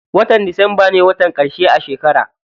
Watan disamba ne watan ƙarshe a shekara.